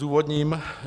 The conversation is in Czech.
Zdůvodním.